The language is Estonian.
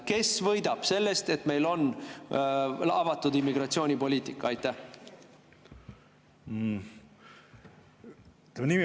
Kes võidab sellest, et meil on avatud immigratsioonipoliitika?